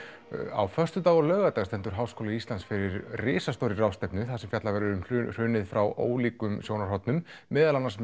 á föstudag og laugardag stendur h í fyrir risastórri ráðstefnu þar sem fjallað verður um hrunið frá ólíkum sjónarhornum meðal annars